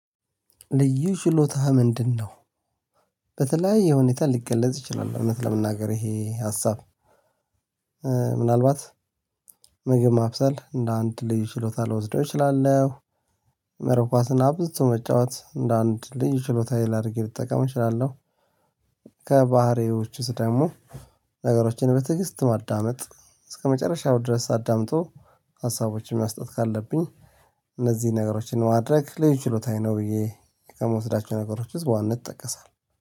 ልዩ ችሎታህ ምንድነው? በተለያየ ሁኔታ ሊገለጽ ይችላል እውነት ለመናገር ይሄ ሀሳብ ምናልባት ምግብ ማብሰል እንደ አንድ ልዩ ችሎታ ልወስደው እችላለሁ። መረብ ኳስን አብዝቶ መጫወት እንደ አንድ ልጅ ችሎታ ላድርጌ ልጠቀም እችላለሁ። ከባህሪዎቹ ውስጥ ደግሞ ነገሮችን በትዕግስት ማዳመጥ እስከመጨረሻው ድረስ አዳምጦ ሀሳቦችን መስጠት ካለብኝ እነዚህን ነገሮችን ማድረግ ልዩ ችሎታዬ ነው። ብዬ ከምወስዳቸው ነገሮች ውስጥ በዋንነት እንጠቀሳለን